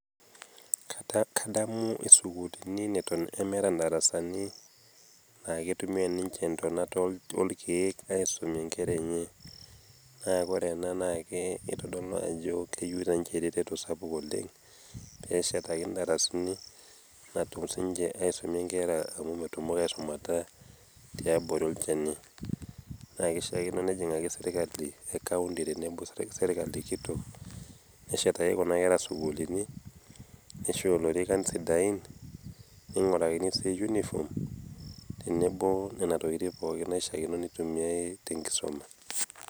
Kadamu isukulini neton meata indarasani , keitumiai ninche intonat oo ilkeek aisumie inkera enye. Naa Kore ena keitodolu ajo eyuu ninche eretoto sapuk oleng', pee eshetaikini indarasani natum sininche aisumie inkera amu metumoki aisumata tiabori olchani. Naa keishaakino nejing'aki serkali e kauti o serkali kitok pee eshetaiki Kuna kera isukulini, neisho ilorikan sidain, neing'orakini sii uniform tenebo Nena tokitin pooki naishaakino neisomie te enkisuma.